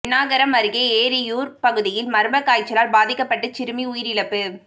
பென்னாகரம் அருகே ஏரியூா் பகுதியில் மா்ம காய்ச்சலால் பாதிக்கப்பட்டு சிறுமி உயிரிழப்பு